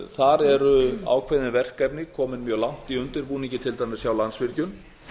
þar eru ákveðin verkefni komin mjög langt í undirbúningi til dæmis hjá landsvirkjun